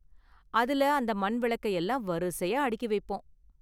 அதுல அந்த மண் விளக்க எல்லாம் வரிசையா அடுக்கி வைப்போம்.